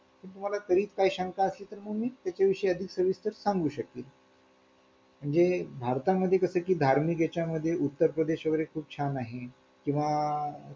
किंवा हा customer तुम्हाला व्यवसाय आहे एक हजार देईल दोन हजार देईल किंवा तीन हजार देईल जर व्यवसायाच्या शंभराने दोनशे तीनशे आणि पाचशे पाचशे देणाऱ्याला .